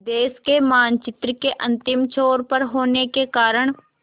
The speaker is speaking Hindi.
देश के मानचित्र के अंतिम छोर पर होने के कारण